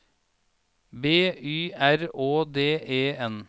B Y R Å D E N